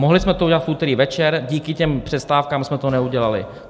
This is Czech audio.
Mohli jsme to udělat v úterý večer, díky těm přestávkám jsme to neudělali.